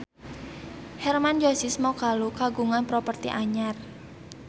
Hermann Josis Mokalu kagungan properti anyar